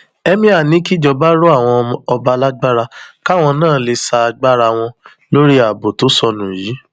emir ní kíjọba rọ àwọn ọba lágbára káwọn náà lè sa agbára wọn lórí ààbò tó sọnù yìí